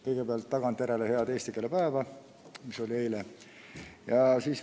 Kõigepealt, tagantjärele head eesti keele päeva, mis oli eile!